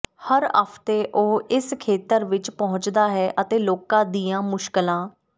ਹਰ ਹਫਤੇ ਉਹ ਇਸ ਖੇਤਰ ਵਿੱਚ ਪਹੁੰਚਦਾ ਹੈ ਅਤੇ ਲੋਕਾਂ ਦੀਆਂ ਮੁਸ਼ਕਲਾਂ